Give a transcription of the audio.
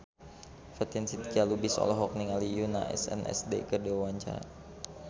Fatin Shidqia Lubis olohok ningali Yoona SNSD keur diwawancara